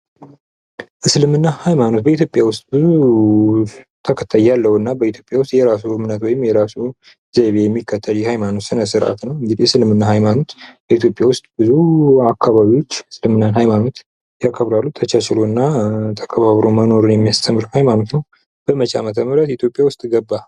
እስልምና ሃይማኖት በኢትዮጵያ ውስጥ ብዙ ተከታይ ያለው እና የራሱ የሆነ ዘይቤ ያለው የሃይማኖት ስነስረአት ነው። እንግዲህ እስልምና ሃይማኖት በኢትዮጵያ ውስጥ ብዙ አከባቢዎች የእስልምና ሀይማኖትን ያከብራሉ ፤ ተቻችሎ እና ተከባብሮ መኖርን የሚያስተምር ሃይማኖት ነው። በመቼ አመተ ምህረት ኢትዮጵያ ውስጥ ገባ?